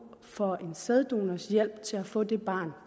for en sæddonors hjælp til at få det barn